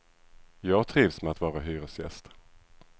Jag trivs med att vara hyresgäst.